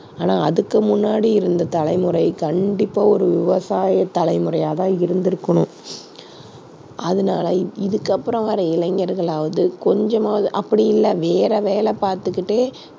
ஆனா அதுக்கு முன்னாடி இருந்த தலைமுறை கண்டிப்பா ஒரு விவசாய தலைமுறையா தான் இருந்திருக்கணும். அதனால இ~ இதுக்கு அப்புறம் வர்ற இளைஞர்களாவது கொஞ்சமாவது அப்படி இல்ல வேற வேலை பார்த்துகிட்டே